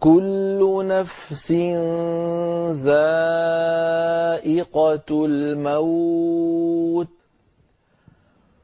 كُلُّ نَفْسٍ ذَائِقَةُ الْمَوْتِ ۗ